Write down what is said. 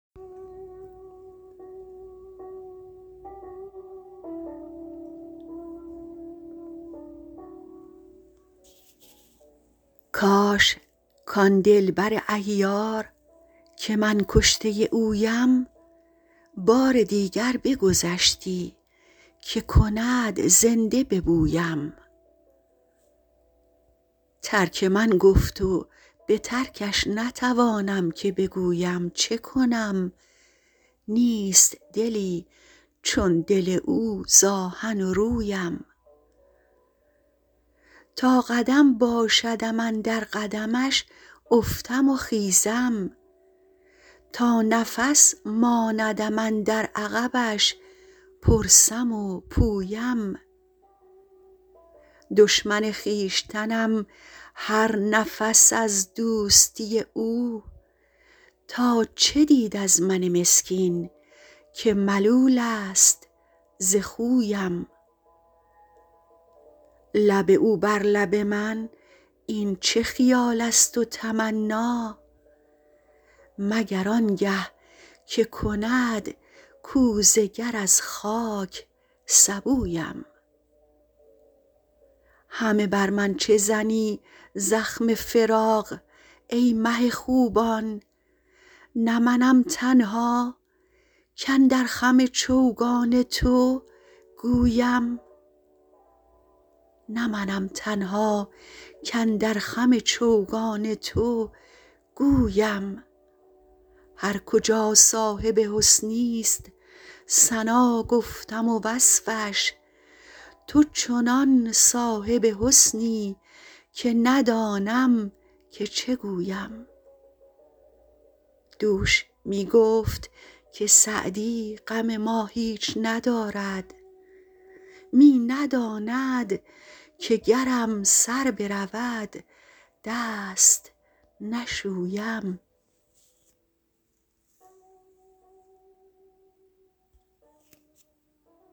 کاش کان دل بر عیار که من کشته اویم بار دیگر بگذشتی که کند زنده به بویم ترک من گفت و به ترکش نتوانم که بگویم چه کنم نیست دلی چون دل او ز آهن و رویم تا قدم باشدم اندر قدمش افتم و خیزم تا نفس ماندم اندر عقبش پرسم و پویم دشمن خویشتنم هر نفس از دوستی او تا چه دید از من مسکین که ملول است ز خویم لب او بر لب من این چه خیال است و تمنا مگر آن گه که کند کوزه گر از خاک سبویم همه بر من چه زنی زخم فراق ای مه خوبان نه منم تنها کاندر خم چوگان تو گویم هر کجا صاحب حسنی ست ثنا گفتم و وصفش تو چنان صاحب حسنی که ندانم که چه گویم دوش می گفت که سعدی غم ما هیچ ندارد می نداند که گرم سر برود دست نشویم